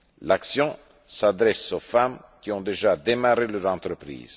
L'action s'adresse aux femmes qui ont déjà démarré leur entreprise.